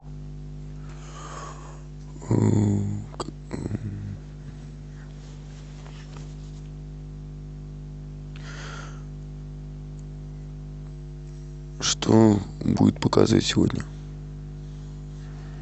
что будут показывать сегодня